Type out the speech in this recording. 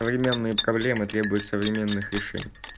современные проблемы требуют современных решений